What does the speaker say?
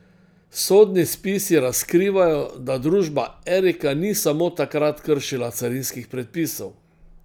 Sodni spisi razkrivajo, da družba Erika ni samo takrat kršila carinskih predpisov.